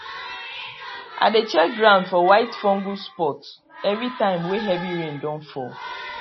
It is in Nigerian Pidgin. i dey check ground for white fungus spot everytime wey heavy rain don fall